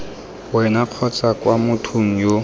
wena kgotsa kwa mothong yo